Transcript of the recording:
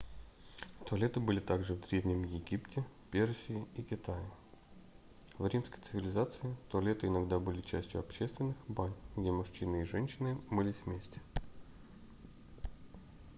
туалеты были также в древнем египте персии и китае в римской цивилизации туалеты иногда были частью общественных бань где мужчины и женщины мылись вместе